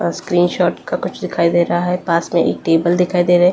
अह screenshot का कुछ दिखाई दे रहा है पास में एक टेबल दिखाई दे रहे--